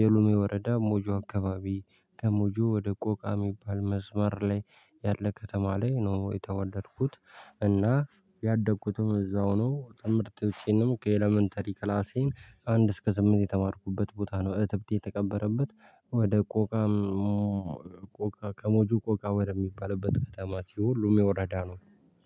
የሉሜ ወረዳ ሞጆ አካባቢ ከሞጆ ወደ ቆቃ የሚባል መስመር ላይ ያለ ከተማ ላይ ነው የተወለድኩት። እና ያደግኩትም እዛው ነው ምርጥ ውጪንም ከኤለመንተሪ ክላሴን አንድ እስከ ስምንት የተማርኩበት ቦታ ነው። እህት ብትተቀበረበት ወደ ቆቃ ቆቃ ከሞጁ ቆቃ ወደሚባልበት ከተማት ይሄ ሁሉም የወረዳ ነው